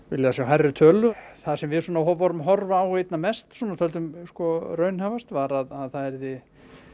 viljað sjá hærri tölu það sem við vorum að horfa á einna mest og töldum raunhæfast var að það yrði